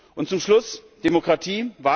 Und zum Schluss Demokratie.